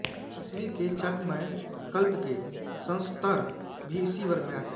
कश्मीर के चाकमय कल्प के संस्तर भी इसी वर्ग में आते हैं